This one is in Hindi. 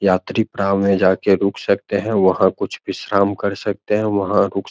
यात्री में जाकर रुक सकते हैं वहाँ कुछ विश्राम कर सकते हैं वहाँ रुक--